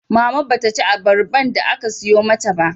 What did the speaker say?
Mama ba ta ci abarban da aka sayo mata ba